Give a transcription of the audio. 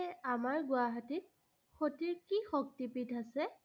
আমাৰ গুৱাহাটীত সতীৰ কি শক্তিপীঠ আছে?